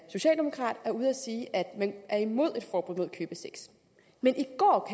socialdemokrat er ude at sige at man er imod et forbud mod købesex men i går